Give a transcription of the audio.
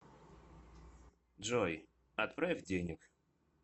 джой отправь денег